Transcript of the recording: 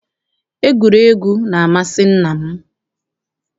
Egwuregwu na-amasị nna m.